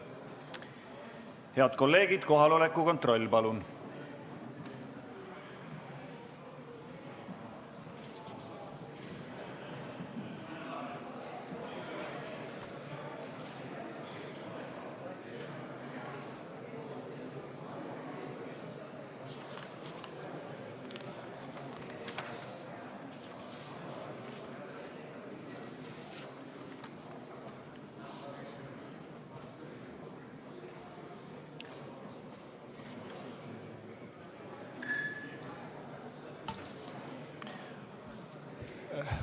Head kolleegid, kohaloleku kontroll, palun!